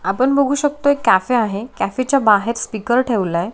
आपण बघु शकतो कॅफे आहे. कॅफे च्या बाहेर स्पीकर ठेवलाय.